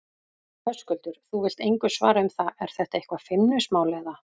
Höskuldur: Þú vilt engu svara um það, er þetta eitthvað feimnismál, eða?